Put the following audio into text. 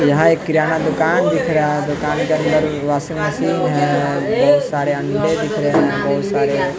यहाँ एक किराना दुकान दिख रहा है दुकान के अंदर वाशिंग मशीन है बहुत सारे अंडे दिख रहे हैं बहुत सारे --